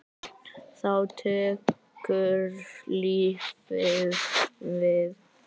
Þá tekur lífið við?